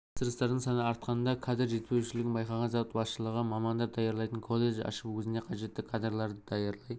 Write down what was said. тапсырыстардың саны артқанда кадр жетіспеушілігін байқаған зауыт басшылығы мамандар даярлайтын колледж ашып өзіне қажетті кадрларды даярлай